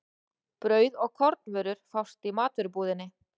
Brauð og kornvörur fást í matvörubúðinni.